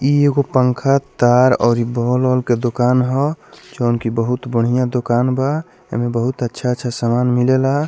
इ एगो पंखा तार और बोल औल के दुकान ह जोवन की बहुत बढ़िया दुकान बा एमे बहुत अच्छा-अच्छा समान मिलेला।